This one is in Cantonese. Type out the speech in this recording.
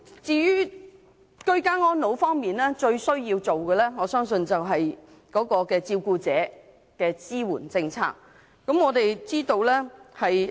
至於居家安老方面，我相信照顧者的支援政策最為必要。